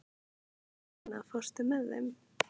Eleina, ekki fórstu með þeim?